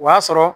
O y'a sɔrɔ